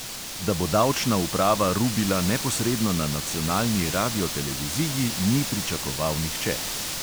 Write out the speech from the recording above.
Da bo davčna uprava rubila neposredno na nacionalni radioteleviziji, ni pričakoval nihče.